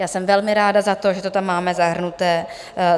Já jsem velmi ráda za to, že to tam máme zahrnuté.